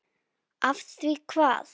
Af því hvað?